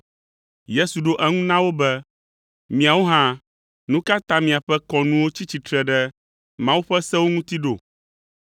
Yesu ɖo eŋu na wo be, “Miawo hã, nu ka ta miaƒe kɔnuwo tsi tsitre ɖe Mawu ƒe sewo ŋuti ɖo?